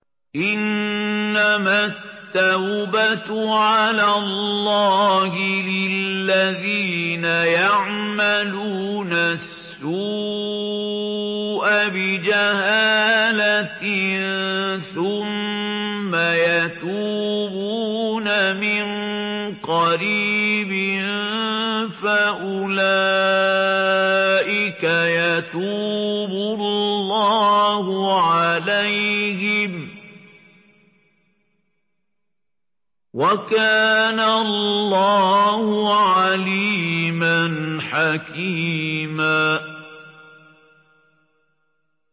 إِنَّمَا التَّوْبَةُ عَلَى اللَّهِ لِلَّذِينَ يَعْمَلُونَ السُّوءَ بِجَهَالَةٍ ثُمَّ يَتُوبُونَ مِن قَرِيبٍ فَأُولَٰئِكَ يَتُوبُ اللَّهُ عَلَيْهِمْ ۗ وَكَانَ اللَّهُ عَلِيمًا حَكِيمًا